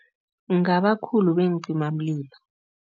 Ngabakhulu beencimamlilo.